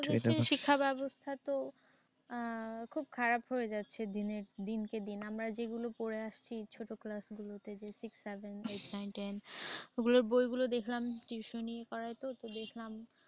এদেশের শিক্ষা ব্যবস্থা তো। আহ খুব খারাপ হয়ে যাচ্ছে দিনের দিন দিনকে দিন। আমরা যেগুলো পড়ে আসছি ছোট ক্লাসগুলোতে যে six, seven, eight, nine, ten ওগুলো বইগুলো দেখলাম। tuition করাই তো তাই দেখলাম।